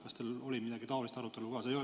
Kas teil oli mingit taolist arutelu ka?